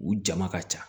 U jama ka ca